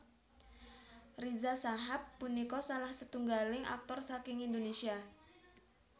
Riza Shahab punika salah setunggaling aktor saking Indonésia